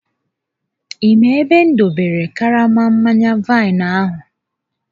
Ị maara ebe m dobere karama mmanya vaịnụ ahụ?